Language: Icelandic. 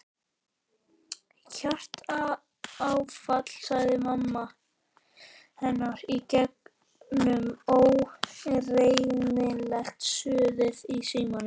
Hjartaáfall sagði mamma hennar í gegnum ógreinilegt suðið í símanum.